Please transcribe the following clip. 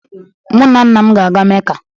Mu na Nna m ga-aga Mecca